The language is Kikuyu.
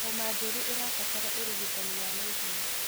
Homa njũru ĩrabatara ũrigitani wa naihenya.